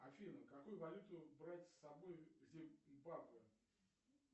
афина какую валюту брать с собой в зимбабве